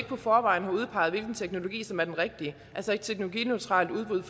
forvejen har udpeget hvilken teknologi som er den rigtige altså et teknologineutralt udbud